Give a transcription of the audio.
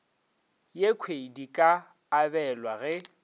yekhwi di ka abelwa ge